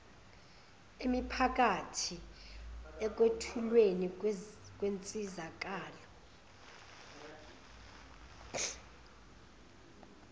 emiphakathi ekwethulweni kwensizakalo